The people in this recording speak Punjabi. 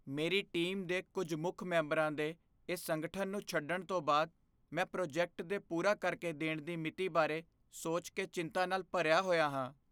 ਮੇਰੀ ਟੀਮ ਦੇ ਕੁੱਝ ਮੁੱਖ ਮੈਂਬਰਾਂ ਦੇ ਇਸ ਸੰਗਠਨ ਨੂੰ ਛੱਡਣ ਤੋਂ ਬਾਅਦ ਮੈਂ ਪ੍ਰੋਜੈਕਟ ਦੇ ਪੂਰਾ ਕਰਕੇ ਦੇਣ ਦੀ ਮਿਤੀ ਬਾਰੇ ਸੋਚ ਕੇ ਚਿੰਤਾ ਨਾਲ ਭਰਿਆ ਹੋਇਆ ਸੀ।